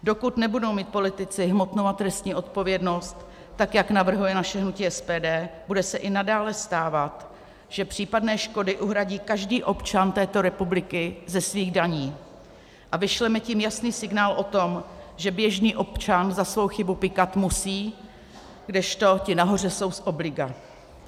Dokud nebudou mít politici hmotnou a trestní odpovědnost, tak jak navrhuje naše hnutí SPD, bude se i nadále stávat, že případné škody uhradí každý občan této republiky ze svých daní, a vyšleme tím jasný signál o tom, že běžný občan za svou chybu pykat musí, kdežto ti nahoře jsou z obliga.